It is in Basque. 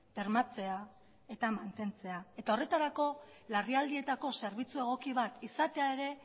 bermatzea eta mantentzea eta horretarako larrialdietako zerbitzu egoki bat izatea ere